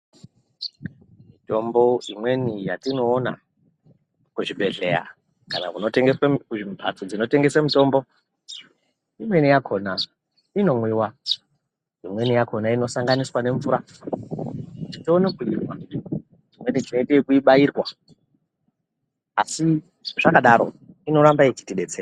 Mitombo imweni yatinoona kuzvibhedhleya, kana kunotengeswe kuzvimphatso dzinotengesa mitombo, imweni inomwiwa imweni yakhona inosanganiswa nemvura, tione kuimwa, imwenitinoita ekubairwa, asi zvakadaro inoramba yechitidetsera.